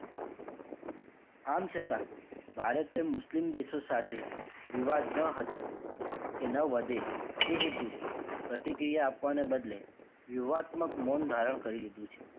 આમ છતાં ભારતએ મુસ્લિમ દેશો સાથે વિવાદ ન હતો કે ન વધે એ હેતુ પ્રતિક્રિયા આપવાને બદલે યુવાતમ્ક મોંન ધારણ કરી લીધું છે.